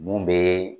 Mun bɛ